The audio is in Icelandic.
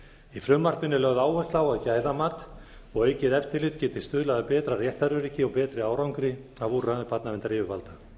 í frumvarpinu er lögð áhersla á að gæðamat og aukið eftirlit geti stuðlað að betra réttaröryggi og betri árangri af úrræðum barnaverndaryfirvalda